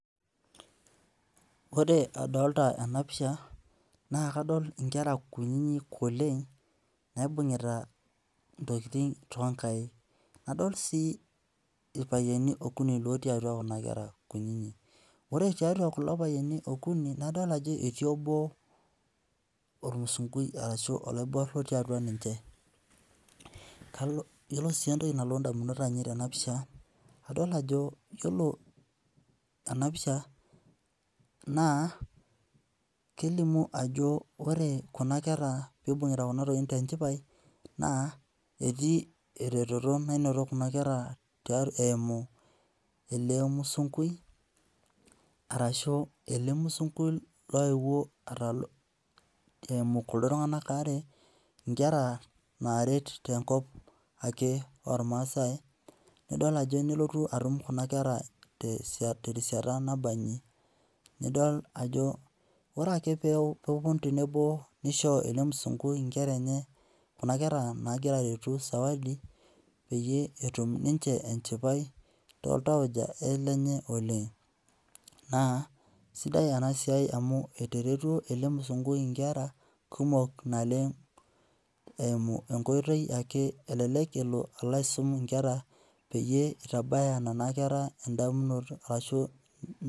Ore adolita ena pisha naa kadol inkera kunyinyi oleng naibung'ita intokiting toonkaik. Nadol sii irpayiani okuni lootii atwa kuna kera kunyinyi. Ore tiatwa kulo payiani okuni nadol ajo etii obo ormusungui arashu oloiborr otii atwa ninche. Iyiolo sii entoki nalotu indamunot ainei tena pisha naa ijo iyiolo ena pisha naa kelimu ajo ore kuna kera piibung'ita kuna tokiting tenchipai naa etii eretoto nainoto kuna kera eimu ele musungui arashu ele musungui loewuo atalu eimu kuko tung'anak aare nkera naaret tenkop ake ormaasai nidol ajo nelotu atum kuna kera terishata nabanji. Idol ajo ore ake peepwonu tenebo nisho ele musungui inkera enye, kuna kera naagira aretu zawadi peyie etum ninche enchipai tooltauja lenye oleng. Naa sidai ena siai amu etaretwo ele musungui inkera kumok naleng eimu enkoitoi ake elelek elo aisum inkera peyie itabaya nena kera endamunoto arashu